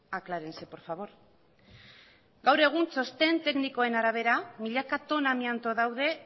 aclárense por favor gaur egun txosten teknikoen arabera milaka tona amianto daude